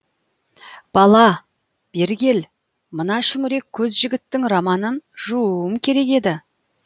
бала бері кел мына шүңірек көз жігіттің романын жууым керек еді